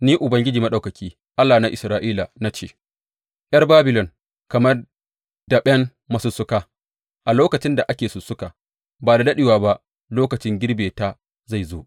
Ni Ubangiji Maɗaukaki, Allah na Isra’ila na ce, ’Yar Babilon kamar daɓen masussuka a lokacin da ake sussuka, ba da daɗewa ba lokacin girbe ta zai zo.